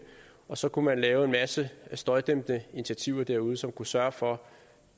og så kunne man lave en masse støjdæmpende initiativer derude som kunne sørge for